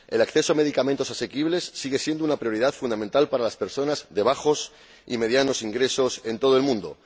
El acceso a medicamentos asequibles sigue siendo una prioridad fundamental para las personas de bajos y medianos ingresos en todo el mundo.